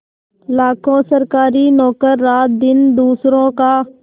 लाखों सरकारी नौकर रातदिन दूसरों का